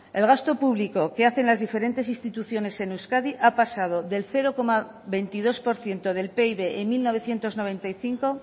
el gasto público que hacen las diferentes instituciones en euskadi ha pasado del cero coma veintidós por ciento del pib en mil novecientos noventa y cinco